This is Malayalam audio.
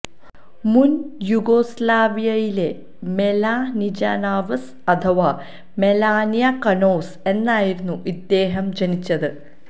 മുൻ യൂഗോസ്ലാവിയയിലെ മെലാനിജ നാവ്സ് അഥവാ മെലാനിയ കനോസ് എന്നായിരുന്നു ഇദ്ദേഹം ജനിച്ചത്